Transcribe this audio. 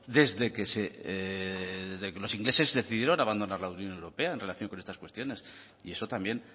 desde que los ingleses decidieron abandonar la unión europea en relación con estas cuestiones y eso también